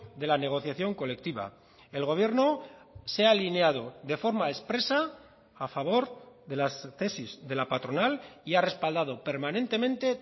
de la negociación colectiva el gobierno se ha alineado de forma expresa a favor de las tesis de la patronal y ha respaldado permanentemente